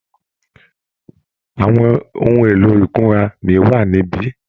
Àwọn ohun èlò ìkunra mi wà níbí?